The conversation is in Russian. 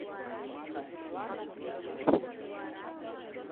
афина лозер